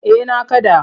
Eh na kaɗa.